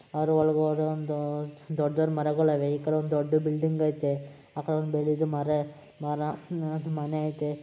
ಅದರ ಒಳಗಡೆ ಒಂದು ದೊಡ್ಡ ದೊಡ್ಡ ಮರಗಳಿವೆ ಈ ಕಡೆ ಒಂದು ದೊಡ್ಡ ಬಿಲ್ಡಿಂಗ್ ಐತೆ ಆ ಕಡೆ ಒಂದು ದೊಡ್ಡಮರೆ ಮರ ಮನೆ ಐತೆ .